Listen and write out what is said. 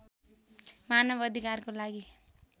मानव अधिकारको लागि